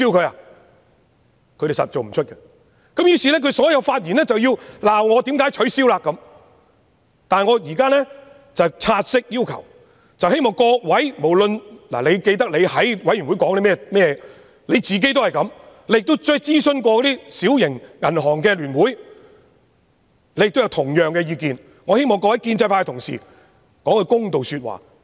他們一定做不到，於是他們所有的發言便是批評我為何提出取消，但我現在旨在希望各位記得自己在小組委員會內的發言，自己也是這樣想的，並且曾經諮詢小型銀行的聯會，得出同樣的意見，我希望各位建制派同事說一句公道話。